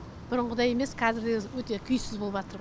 бұрынғыдай емес қазір өзі өте күйсіз болыватыр ғой